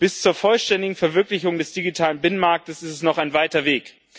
Bis zur vollständigen Verwirklichung des digitalen Binnenmarkts ist es noch ein weiter Weg.